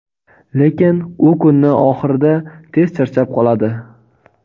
lekin u kunni oxirida tez charchab qoladi.